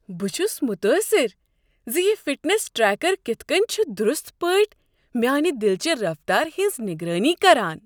بہٕ چھس متٲثر ز یہ فٹنس ٹریکر کتھ کٔنۍ چھ درست پٲٹھۍ میانِہ دلٕچہِ رفتارِ ہٕنز نگرٲنی کران۔